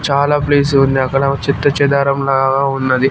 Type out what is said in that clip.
చాలా ప్లేస్ ఉంది అక్కడ చేత్తుచెదారం లాగ ఉన్నది.